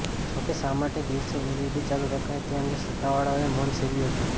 જોકે શા માટે દિવસે એલઇડી ચાલુ રખાયા તે અંગે સત્તાવાળાઓએ મૌન સેવ્યું હતું